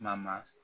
Maa ma